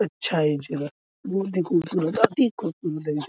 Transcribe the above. अच्छा है ये जगह वो देखो खूबसूरत अति खूबसूरत